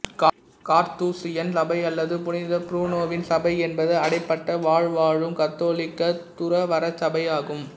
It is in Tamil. கார்த்தூசியன் சபை அல்லது புனித புரூனோவின் சபை என்பது அடைபட்ட வாழ்வுவாழும் கத்தோலிக்க துறவறச்சபை ஆகும்